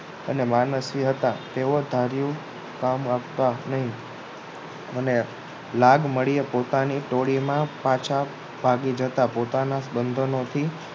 અને માનસીય હતા તેઓ ધારિયું કામ કરતા નહીં અને લાગ મળે પોતાની ટોળીમાં પાછા ભાગી જતા બંધનોથી